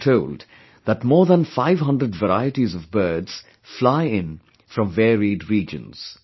We are told that more than 500 varieties of birds fly in from varied regions